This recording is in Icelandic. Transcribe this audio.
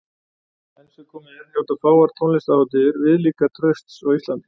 Enn sem komið er njóta fáar tónlistarhátíðir viðlíka trausts á Íslandi.